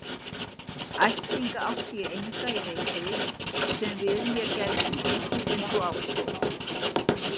Ættingja átti ég enga í Reykjavík sem við mér gætu tekið einsog á stóð.